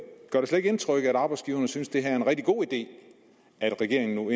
indtryk at arbejdsgiverne synes at det er en rigtig god idé at regeringen nu